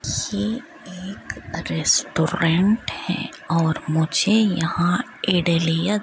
ये एक रेस्टोरेंट है और मुझे यहां इदलियां --